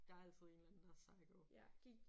Der er altid en eller anden der er psycho